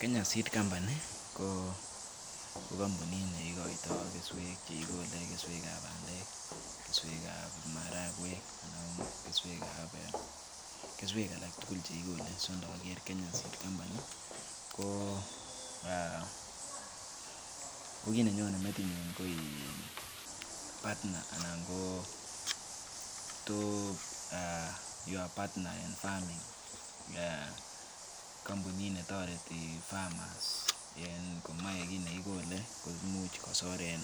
kenya seed company ko kampunit ne ikoito keswek chekikole, keswekab bandek, keswekab maragweek ana kesweekab e kesweek alak tugul chekikole so inager enya seed company kii ne nyone metinyun koin [s]partner anan ko[um] partner en farming um kampunit netoreti farmers en komoe kiit ne kigole imuch kosor en